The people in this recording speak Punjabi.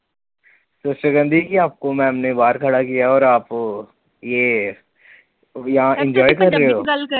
Sister ਕਹਿੰਦੀ ਕਿ ਆਪਕੋ ਮੈਡਮ ਨੇ ਬਾਹਰ ਖੜਾ ਕਿਆ ਹੈ ਔਰ ਆਪ ਯੇ ਯਹਾਂ enjoy ਕਰ ਰਹੇ ਹੋ?